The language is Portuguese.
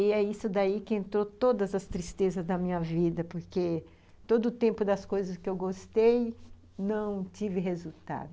E é isso daí que entrou todas as tristezas da minha vida, porque todo o tempo das coisas que eu gostei, não tive resultado.